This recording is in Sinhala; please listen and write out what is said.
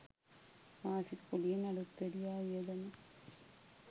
මාසික කුලියෙන් අලූත්වැඩියා වියදම